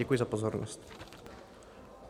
Děkuji za pozornost.